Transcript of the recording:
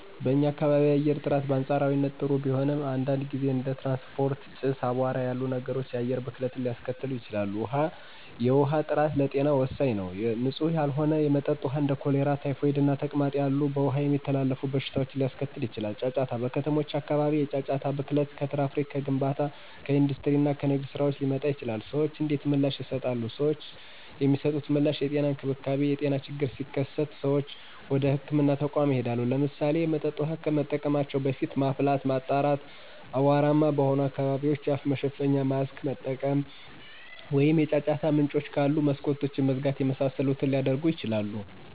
*በኛ ካባቢ የአየር ጥራት: በአንፃራዊነት ጥሩ ቢሆንም፣ አንዳንድ ጊዜ እንደ ትራንስፖርት ጭስ፣ እና አቧራ ያሉ ነገሮች የአየር ብክለትን ሊያስከትሉ ይችላሉ። ውሀ፦ የውሃ ጥራት ለጤና ወሳኝ ነው። ንፁህ ያልሆነ የመጠጥ ውሃ እንደ ኮሌራ፣ ታይፎይድ እና ተቅማጥ ያሉ በውሃ የሚተላለፉ በሽታዎችን ሊያስከትል ይችላል። * ጫጫታ: በከተሞች አካባቢ የጫጫታ ብክለት ከትራፊክ፣ ከግንባታ ስራዎች፣ ከኢንዱስትሪ እና ከንግድ ስራዎች ሊመጣ ይችላል። ሰዎች እንዴት ምላሽ ይሰጣሉ? ሰዎች የሚሰጡት ምላሽ * የጤና እንክብካቤ : የጤና ችግሮች ሲከሰቱ ሰዎች ወደ ህክምና ተቋማት ይሄዳሉ። *ለምሳሌ፣ የመጠጥ ውሃ ከመጠቀማቸው በፊት ማፍላት፣ ማጣራት፣ አቧራማ በሆኑ አካባቢዎች የአፍ መሸፈኛ (ማስክ) መጠቀም፣ ወይም የጫጫታ ምንጮች ካሉ መስኮቶችን መዝጋት የመሳሰሉትን ሊያደርጉ ይችላሉ።